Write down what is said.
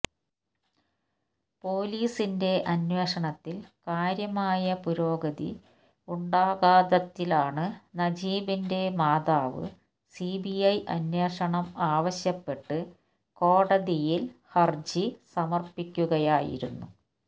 police അന്വേഷണത്തില് കാര്യമായ പുരോഗതി ഉണ്ടാത്തതിനാല് നജീബിന്റെ മാതാവ് സിബിഐ അന്വേഷണം ആവശ്യപ്പെട്ട് കോടതിയില് ഹര്ജി സമര്പ്പിക്കുകയായിരുന്നു